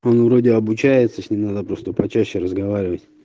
он вроде обучается с ней надо просто почаще разговаривать